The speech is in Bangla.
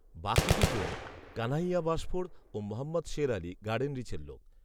বাকি দুজন কানহাইয়া বাশফোড় ও মহম্মদ শের আলি, গার্ডেনরিচের লোক